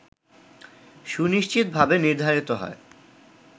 সুনিশ্চিতভাবে নির্ধারিত হয়